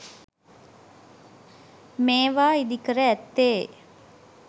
මේවා ඉදිකර ඇත්තේ